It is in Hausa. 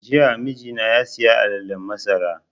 Jiya mijina ya saya alalen masara